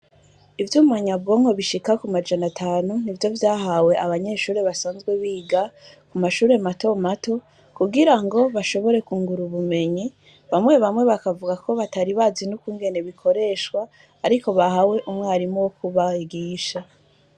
Ivyuma nyabwonko bishika ku majana atanu nivyo vyahawe abanyeshuri basanzwe biga mu mashuri mato mato kugirango bashobore kungura ubumenyi bamwe bamwe bakavuga ko batari bazi nu kungene bikoreshwa ariko bahawe umwarimu wo ku bigisha